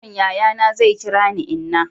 yaron yayana zai kira ni inna